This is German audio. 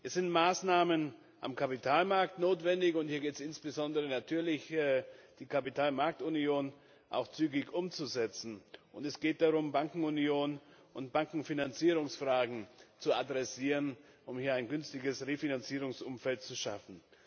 Es sind Maßnahmen am Kapitalmarkt notwendig. Hier gilt es insbesondere natürlich, die Kapitalmarktunion auch zügig umzusetzen, und es geht darum, Bankenunion und Bankenfinanzierungsfragen anzugehen, um ein günstiges Refinanzierungsumfeld zu schaffen.